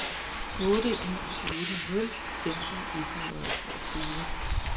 otte en otte nul femten et hundrede og toogtyve